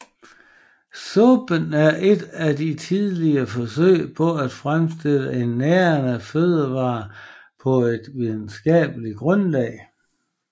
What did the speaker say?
Suppen er et af de tidligste forsøg på at fremstille en nærende fødevare på et videnskabeligt grundlag